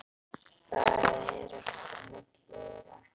Það er ekkert á milli þeirra.